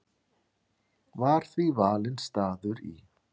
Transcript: Var því valinn staður í